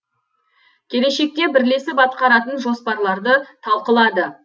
келешекте бірлесіп атқаратын жоспарларды талқылады